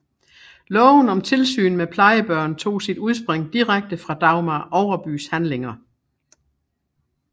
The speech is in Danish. Loven om tilsyn med plejebørn tog sit udspring direkte fra Dagmar Overbys handlinger